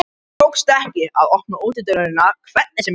Mér tókst ekki að opna útidyrahurðina hvernig sem ég reyndi.